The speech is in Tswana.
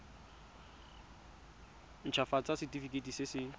nt hafatsa setefikeiti se se